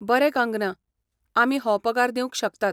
बरें कंगना, आमी हो पगार दिवंक शकतात.